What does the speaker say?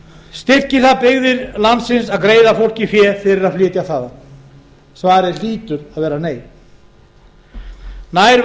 styrkir það byggðir landsins að greiða fólki fé fyrir að flytja þaðan svarið hlýtur að nei nær væri